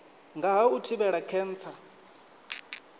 nga ha u thivhela khentsa